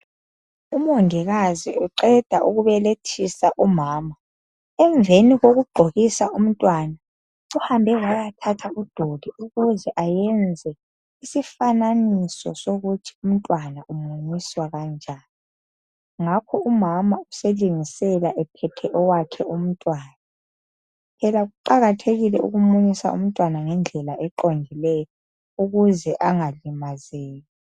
Umongikazi uqeda ukubelethisa umama emveni kokugqokisa umntwana uhambe wayathatha udoli ukuthi enze isifananiso sokuthi umntwana umunyiswa njani phela kuqakathekile ukumunyisa umntwana ngendlela eqondileyo ukuze angalimazeki.